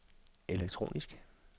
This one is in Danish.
elektronisk